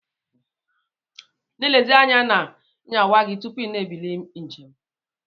Na elezikwa anya na nyawa gi tupu ina ebili njem.